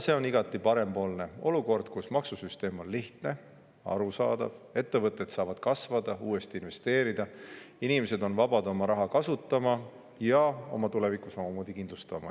See on igati parempoolne olukord: maksusüsteem on lihtne, arusaadav, ettevõtted saavad kasvada, uuesti investeerida, inimesed on vabad oma raha kasutama ja oma tulevikku kindlustama.